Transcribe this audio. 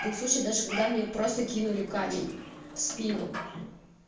был в сочи даже когда мне просто кинули камень в спину